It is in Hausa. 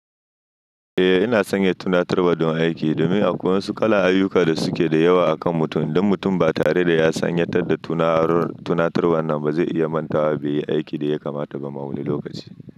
Eh ina sanya tunatarwa don aiki domin akwai wasu kalan ayyuka da suke da yawa akan mutum. Duk mutum ba tare da ya sanyatar da tunar tunatar wannan ba zai iya mantawa beyi aikin da yakamata ba ma wani lokaci.